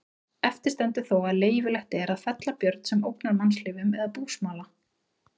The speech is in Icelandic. Eftir stendur þó að leyfilegt er að fella björn sem ógnar mannslífum eða búsmala.